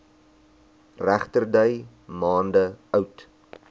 regterdy maande oud